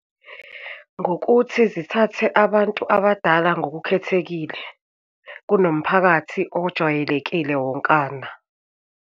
Ngokuthi zithathe abantu abadala ngokukhethekile, kunomphakathi ojwayelekile wonkana.